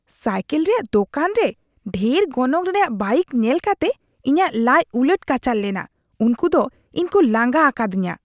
Cycle ᱨᱮᱭᱟᱜ ᱫᱳᱠᱟᱱ ᱨᱮ ᱰᱷᱮᱨ ᱜᱚᱱᱚᱝ ᱨᱮᱭᱟᱜ ᱵᱟᱭᱤᱠ ᱧᱮᱞ ᱠᱟᱛᱮ ᱤᱧᱟᱹᱜ ᱞᱟᱡᱽ ᱩᱞᱟᱹᱴ ᱠᱟᱪᱷᱟᱲ ᱞᱮᱱᱟ ᱾ ᱩᱱᱠᱩ ᱫᱚ ᱤᱧ ᱠᱚ ᱞᱟᱸᱜᱟ ᱟᱠᱟᱫᱤᱧᱟᱹ ᱾